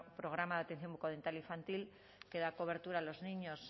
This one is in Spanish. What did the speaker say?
programa de atención bucodental infantil que da cobertura a las niñas